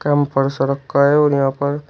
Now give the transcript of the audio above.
ऊपर से रखा है और यहां पर--